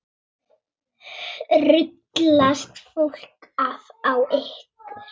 Ruglast fólk á ykkur?